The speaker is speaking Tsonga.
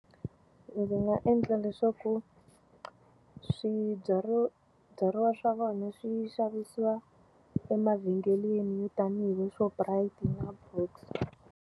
Ndzi nga endla leswaku swibyariwa swa vona swi xavisiwa emavhengeleni tanihi le Shoprite na .